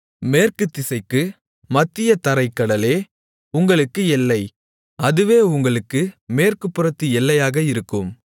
மேற்கு திசைக்குப் மத்தியதரைக் கடலே உங்களுக்கு எல்லை அதுவே உங்களுக்கு மேற்கு புறத்து எல்லையாக இருக்கும்